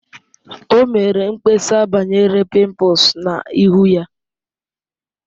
O mere mkpesa banyere pimples na ihu ya